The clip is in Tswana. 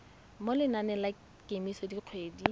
mo lenaneng la kemiso dikgwedi